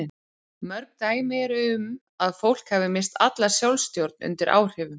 Mörg dæmi eru um að fólk hafi misst alla sjálfstjórn undir áhrifum.